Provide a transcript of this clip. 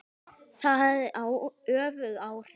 Það hafði öfug áhrif.